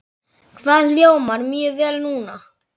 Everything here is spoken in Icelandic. Það hljómar mjög vel núna.